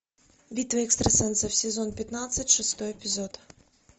битва экстрасенсов сезон пятнадцать шестой эпизод